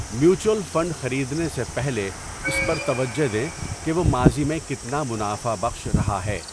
Mutual fund خریدنے سے پہلے اس پر توجہ دیں کہ وہ ماضی میں کتنا منافع بخش رہا ہے۔